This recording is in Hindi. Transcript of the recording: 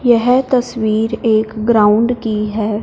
यह तस्वीर एक ग्राउंड की है।